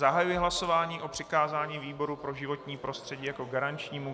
Zahajuji hlasování o přikázání výboru pro životní prostředí jako garančnímu.